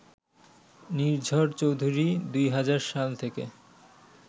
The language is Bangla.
নির্ঝর চৌধুরী ২০০০ সাল থেকে